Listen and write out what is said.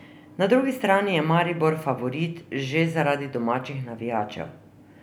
Na drugi strani je Maribor favorit že zaradi domačih navijačev.